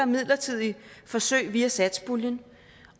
midlertidige forsøg via satspuljen